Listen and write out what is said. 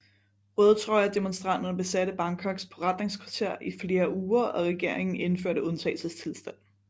Rødtrøje demonstranterne besatte Bangkoks forretningskvarter i flere uger og regeringen indførte undtagelsestilstand